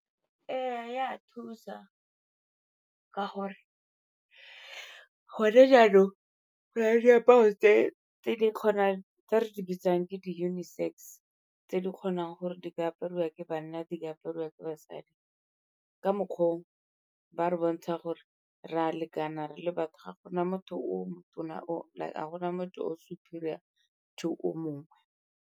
Ee, e a thusa ka gore gone jaanong ke na le diaparo tse di kgonang, tse re di bitsang ke di-unisex tse di kgonang gore ba ke apariwa ke banna di apariwa ke basadi. Ka mokgwa o ba re bontsha gore re a lekana re le batho ga gona motho o mo tona, ga gona motho o superior to o mongwe.